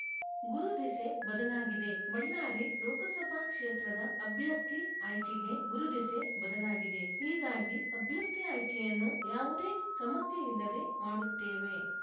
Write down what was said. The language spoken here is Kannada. ಗುರು ದೆಸೆ ಬದಲಾಗಿದೆ ಬಳ್ಳಾರಿ ಲೋಕಸಭಾ ಕ್ಷೇತ್ರದ ಅಭ್ಯರ್ಥಿ ಆಯ್ಕೆಗೆ ಗುರು ದೆಸೆ ಬದಲಾಗಿದೆ ಹೀಗಾಗಿ ಅಭ್ಯರ್ಥಿ ಆಯ್ಕೆಯನ್ನು ಯಾವುದೇ ಸಮಸ್ಯೆಯಿಲ್ಲದೆ ಮಾಡುತ್ತೇವೆ